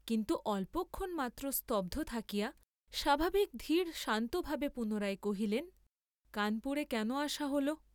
কিন্তু অল্পক্ষণ মাত্র স্তব্ধ থাকিয়া স্বাভাবিক ধীর শান্তভাবে পুনরায় কহিলেন, কানপুরে কেন আসা হ’ল?